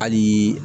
Hali